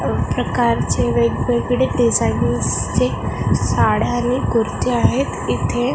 अ प्रकारचे वेगवेगळे डिझाईन्सचे साड्या आणि कुर्ती आहेत इथे--